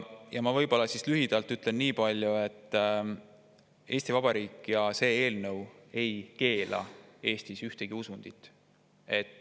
Ma võib-olla lühidalt ütlen, et Eesti Vabariik ja see eelnõu ei keela Eestis ühtegi usundit.